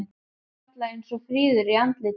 Þó varla eins fríður í andliti.